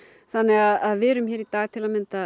þannig að við erum hér í dag til að mynda